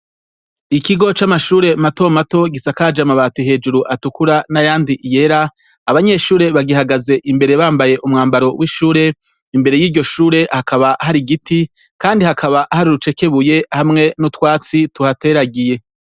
Ikigo c'amashure matomato gisakaje amabati hejuru atukura n'ayandi yera, abanyeshure bagihagaze imbere bambaye umwambaro w'ishure, imbere y'iryo Shure hakaba hari igiti Kandi hakaba harurucekebuye hamwe n'utwatsi tuhateragiye.